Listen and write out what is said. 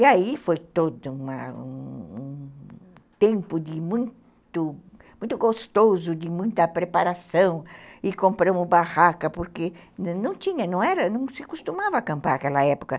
E aí foi todo uma um tempo muito muito gostoso, de muita preparação, e compramos barraca, porque não se costumava acampar naquela época.